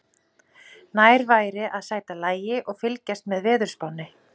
Nær væri að sæta lagi og fylgjast með veðurspánni.